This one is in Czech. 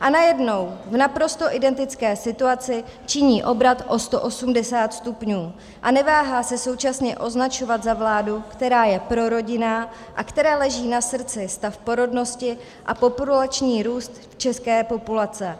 a najednou v naprosto identické situaci činí obrat o 180 stupňů a neváhá se současně označovat za vládu, která je prorodinná a které leží na srdci stav porodnosti a populační růst české populace.